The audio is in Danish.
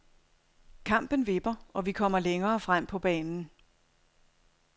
Kampen vipper, og vi kommer længere frem på banen.